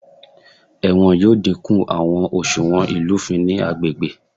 Ẹwọn yoo dinku awọn oṣuwọn ilufin ni agbegbe.